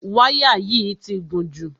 Wáyà yìí ti gùn jù.